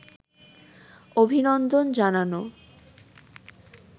অভিনন্দন জানানো